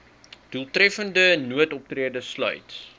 doeltreffende noodoptrede sluit